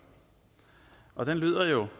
lav